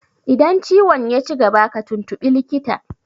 Idan ciwon yaci gaba ka tuntuɓi likita!